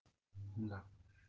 да